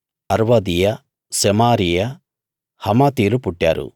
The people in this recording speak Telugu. అర్వాదీయ సెమారీయ హమాతీలు పుట్టారు